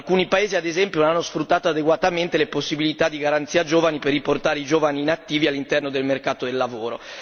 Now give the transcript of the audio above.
Alcuni paesi, ad esempio, non hanno sfruttato adeguatamente le possibilità della Garanzia giovani per riportare i giovani inattivi all'interno del mercato del lavoro.